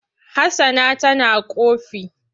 Hassana tana ƙofi.